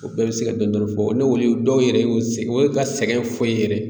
O bɛɛ bɛ se ka dɔɔni dɔrɔn fɔ, n' o ye dɔw yɛrɛ y'u ye ka sɛgɛn fo i ye yɛrɛ.